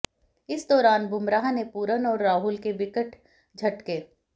इस दौरान बुमराह ने पूरन और राहुल के विकेट झटके